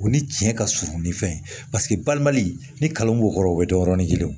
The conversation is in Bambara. O ni tiɲɛ ka surun ni fɛn ye paseke balimali ni kalan b'o kɔrɔ o bɛ dɔn yɔrɔni kelen